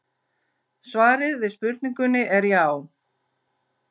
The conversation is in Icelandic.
Svarið við spurningunni er já.